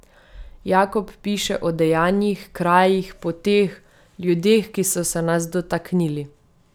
Jakob piše o dejanjih, krajih, poteh, ljudeh, ki so se nas dotaknili.